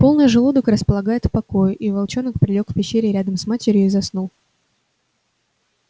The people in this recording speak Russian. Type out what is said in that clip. полный желудок располагает к покою и волчонок прилёг в пещере рядом с матерью и заснул